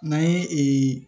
N'an ye